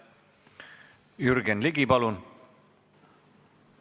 Jürgen Ligi, palun!